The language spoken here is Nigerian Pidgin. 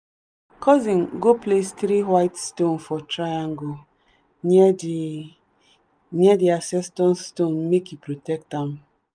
my cousin go place three white stones for triangle near the near the ancestor stone make e protect am.